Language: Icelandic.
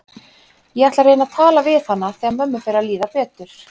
Ég ætla að reyna að tala við hana þegar mömmu fer að líða betur.